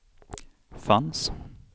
fanns